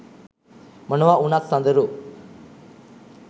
මොනවා උනත් සඳරු